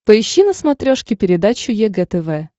поищи на смотрешке передачу егэ тв